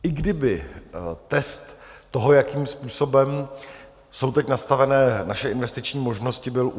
I kdyby test toho, jakým způsobem jsou teď nastavené naše investiční možnosti, byl u